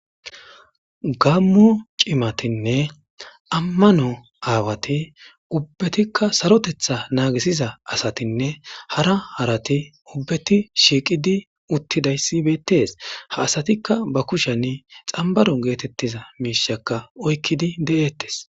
gammo cimatinne ammano aawati ubbatikka sarotetha naagisiza asatinne hara harati ubbeti shiiqidi uttidayssibettes ha asatikka ba kushani xambaron geetettiza miishakka oykkidi de7eettes